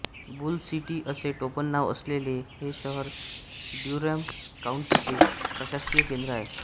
boule City असे टोपणनाव असलेले हे शहर ड्युरॅम काउंटीचे प्रशासकीय केन्द्र आहे